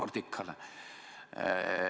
, Nordicale.